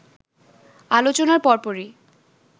আলোচনার পরপরই